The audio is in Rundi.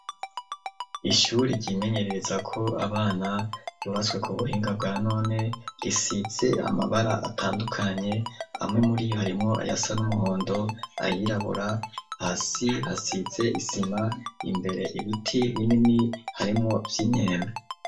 Ishuri ryimenyerereza ko abana yubaswe ku buhinga bwa none risize amabara atandukanye hamwe muri iyo harimwo ayasa n'umuhondo ayirabura hasi hasize isima imbere ibiti binini harimwo vy'inyembe.